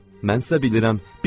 Mən hiss edirəm, bilirəm,